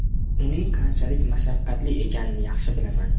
Uning qanchalik mashaqqatli ekanini yaxshi bilaman.